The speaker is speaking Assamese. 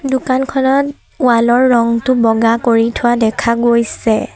দোকানখনত ৱাল ৰ ৰঙটো বগা কৰি থোৱা দেখা গৈছে।